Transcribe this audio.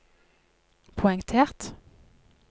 poengtert